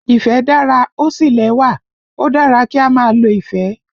Ìfẹ́ dára, ó sì lẹ́wà, ó dára kí á máa lo ìfẹ́